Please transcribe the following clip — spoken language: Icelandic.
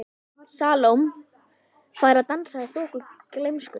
Salóme fær að dansa í þoku gleymskunnar.